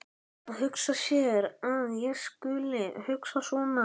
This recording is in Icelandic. Að hugsa sér að ég skuli hugsa svona!